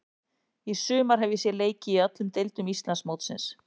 Í sumar hef ég séð leiki í öllum deildum Íslandsmótsins.